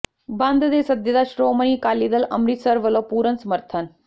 ਬੰਦ ਦੇ ਸੱਦੇ ਦਾ ਸ੍ਰੋਮਣੀ ਅਕਾਲੀ ਦਲ ਅੰਮਿ੍ਤਸਰ ਵੱਲੋਂ ਪੂਰਨ ਸਮਰਥਨ